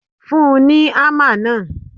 Fún un ní ámà náà.!